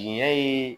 Jɛn ye